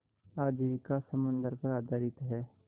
आजीविका समुद्र पर आधारित है